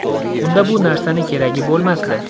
Unda bu narsani keragi bo‘lmasdi.